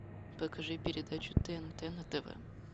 покажи передачу тнт на тв